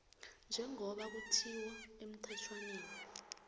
njengoba kutjhiwo emthetjhwaneni